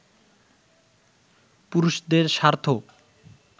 পুরুষদের স্বার্থ